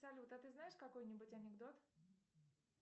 салют а ты знаешь какой нибудь анекдот